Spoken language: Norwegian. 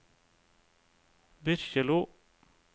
Byrkjelo